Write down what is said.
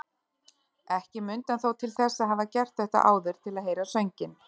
Ekki mundi hann þó til þess að hafa gert þetta áður til að heyra sönginn.